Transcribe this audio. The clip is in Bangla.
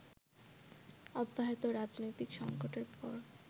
অব্যাহত রাজনৈতিক সঙ্কটের পর